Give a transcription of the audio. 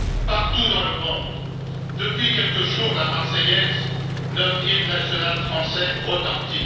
Partout dans le monde, depuis quelques jours, la Marseillaise, notre hymne national français, retentit.